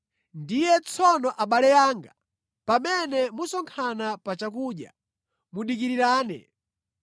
Ndiye tsono abale anga, pamene musonkhana pa chakudya, mudikirirane.